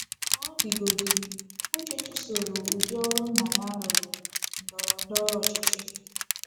Ka ọ dịgodị, Uche chụsoro udi ọrụ nna ya rụrụ — ndọrọ ndọrọ ọchịchị.